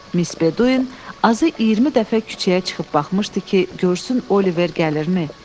Mis Beduyin azı 20 dəfə küçəyə çıxıb baxmışdı ki, görsün Oliver gəlirmi?